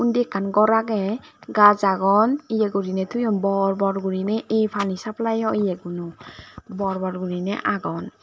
sindi ekkan gor age gaz agon ye gurinei toyon bor bor gurinei ey pani saflai yoguno bor bor gurinei agon.